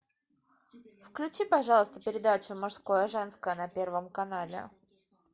включи пожалуйста передачу мужское женское на первом канале